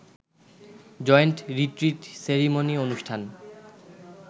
joint retreat ceremony অনুষ্ঠান